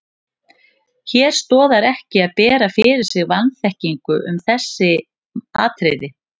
Hér stoðar ekki að bera fyrir sig vanþekkingu um þessi atriði.